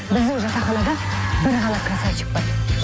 біздің жатақханада бір ғана красавчик бар